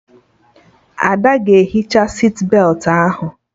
Ada ga-ehicha sitbetị ahụ